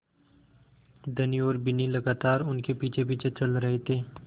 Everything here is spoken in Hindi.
धनी और बिन्नी लगातार उनके पीछेपीछे चल रहे थे